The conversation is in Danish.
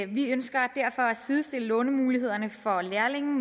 vi ønsker derfor at sidestille lånemulighederne for lærlinge